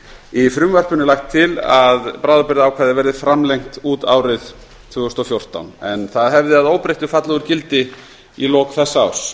í frumvarpinu er lagt til að bráðabirgðaákvæðið verði framlengt út árið tvö þúsund og fjórtán en það hefði að óbreyttu fallið úr gildi í lok þessa árs